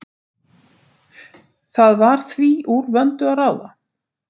Það var því úr vöndu að ráða.